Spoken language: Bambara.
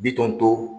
Bitɔn to